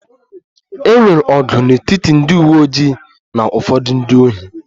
E nwere ọgụ n'etiti ndị uwe ojii na ụfọdụ ndị ohi